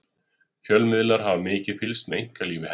fjölmiðlar hafa mikið fylgst með einkalífi hennar